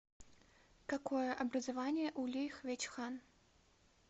какое образование у ли хвечхан